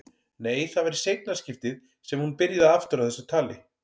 Nei, það var í seinna skiptið sem hún byrjaði aftur á þessu tali.